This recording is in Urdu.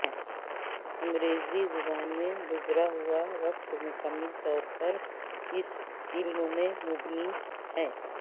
انگریزی زبان میں گزرا ہوا وقت مکمل طور پر اس علم پر مبنی ہے